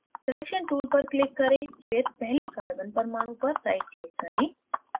selection tool पर click करें फिर पहले carbon परमाणु पर right click करें